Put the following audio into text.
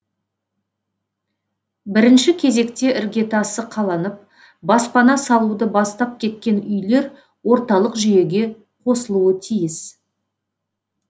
бірінші кезекте іргетасы қаланып баспана салуды бастап кеткен үйлер орталық жүйеге қосылуы тиіс